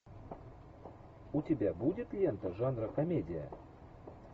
у тебя будет лента жанра комедия